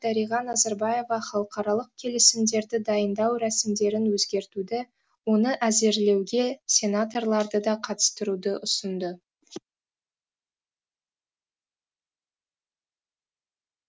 дариға назарбаева халықаралық келісімдерді дайындау рәсімдерін өзгертуді оны әзірлеуге сенаторларды да қатыстыруды ұсынды